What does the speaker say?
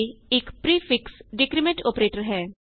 a ਇਕ prefix decrement operator ਹੈ